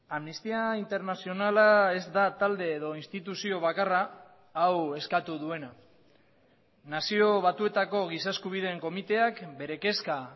amnistia internazionala ez da talde edo instituzio bakarra hau eskatu duena nazio batuetako giza eskubideen komiteak bere kezka